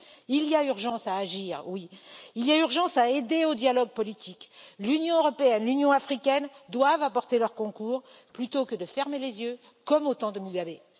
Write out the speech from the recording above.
Il y a urgence à agir, il est urgent d'aider au dialogue politique, l'Union européenne et l'Union africaine doivent apporter leur concours, plutôt que de fermer les yeux comme au temps de Mugabe.